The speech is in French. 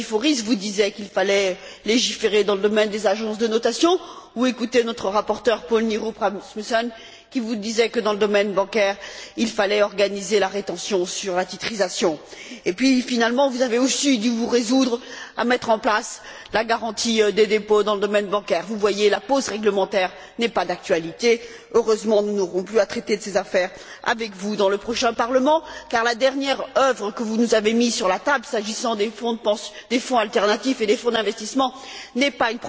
Katiforis, vous disait qu'il fallait légiférer dans le domaine des agences de notation, ou écouter notre rapporteur, Poul Nyrup Rasmussen, qui vous disait que, dans le domaine bancaire, il fallait organiser la rétention sur la titrisation. Finalement, vous avez aussi dû vous résoudre à mettre en place la garantie des dépôts dans le domaine bancaire. Vous voyez, la pause réglementaire n'est pas d'actualité. Heureusement, nous n'aurons plus à traiter de ces questions avec vous au cours de la prochaine législature, car la dernière proposition que vous nous avez présentée, s'agissant des fonds alternatifs et des fonds d'investissement, n'est pas